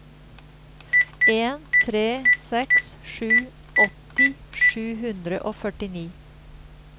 en tre seks sju åtti sju hundre og førtini